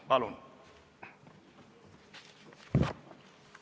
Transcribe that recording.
Palun!